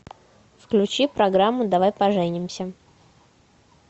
включи программу давай поженимся